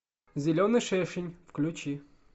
зеленый шершень включи